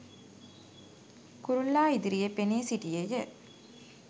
කුරුල්ලා ඉදිරියේ පෙනී සිටියේය